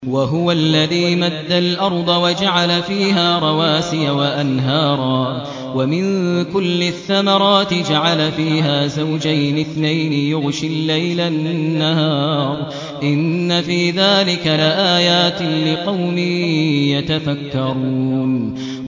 وَهُوَ الَّذِي مَدَّ الْأَرْضَ وَجَعَلَ فِيهَا رَوَاسِيَ وَأَنْهَارًا ۖ وَمِن كُلِّ الثَّمَرَاتِ جَعَلَ فِيهَا زَوْجَيْنِ اثْنَيْنِ ۖ يُغْشِي اللَّيْلَ النَّهَارَ ۚ إِنَّ فِي ذَٰلِكَ لَآيَاتٍ لِّقَوْمٍ يَتَفَكَّرُونَ